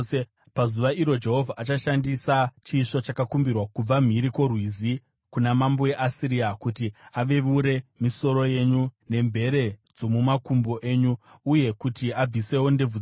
Pazuva iro Jehovha achashandisa chisvo chakakumbirwa kubva mhiri kwoRwizi, kuna mambo weAsiria, kuti aveure misoro yenyu nemvere dzomumakumbo enyu, uye kuti abvisewo ndebvu dzenyu.